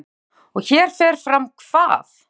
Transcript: Heimir Már: Og hér fer fram hvað?